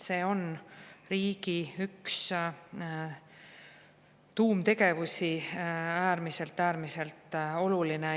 See on üks riigi tuumtegevusi, äärmiselt-äärmiselt oluline.